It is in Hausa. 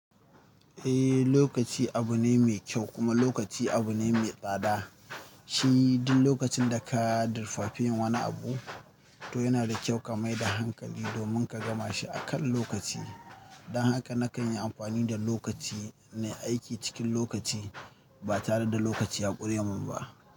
Eh, lokaci abu ne mai kyau kuma lokaci abu ne mai tsada. Shi duk lokacin da ka dirfafin wani abu, to yana da kyau ka maida hankali domin ka gama shi akan lokaci. Don haka nakan yi amfani da lokaci nayi aiki cikin lokaci ba tare da lokaci ya ƙure min ba.